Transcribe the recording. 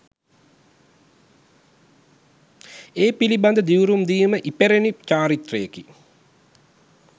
ඒ පිළිබඳ දිවුරුම් දීම ඉපැරැණි චාරිත්‍රයකි.